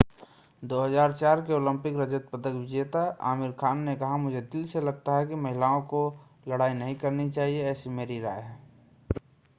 2004 के ओलंपिक रजत पदक विजेता आमिर खान ने कहा मुझे दिल से लगता है कि महिलाओं को लड़ाई नहीं करनी चाहिए ऐसी मेरी राय है